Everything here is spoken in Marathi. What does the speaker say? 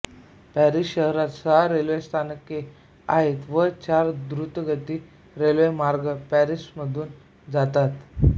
पॅरिस शहरात सहा रेल्वे स्थानके आहेत व चार द्रुतगती रेल्वे मार्ग पॅरिसमधून जातात